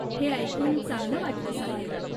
हे ऐकून चांगलं वाटलं साहेब.